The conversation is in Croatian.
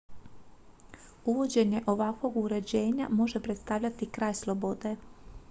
uvođenje ovakvog uređenja može predstavljati kraj slobode